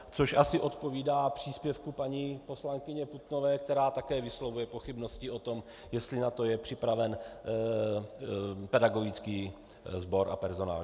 Což asi odpovídá příspěvku paní poslankyně Putnové, která také vyslovuje pochybnosti o tom, jestli na to je připraven pedagogický sbor a personál.